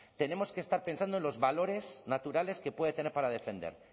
tenemos que estar pensando en los valores naturales que puede tener para defender